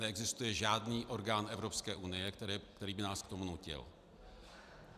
Neexistuje žádný orgán Evropské unie, který by nás k tomu nutil.